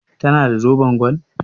Ta na da zoben gwal?